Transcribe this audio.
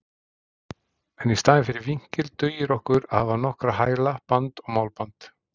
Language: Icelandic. En í staðinn fyrir vinkil dugir okkur að hafa nokkra hæla, band og málband.